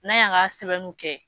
N'a y'a ka sɛbɛnniw kɛ